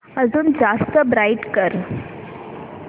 अजून जास्त ब्राईट कर